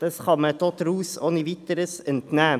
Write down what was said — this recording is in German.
vielmehr kann man es ohne weiteres den Berichten entnehmen.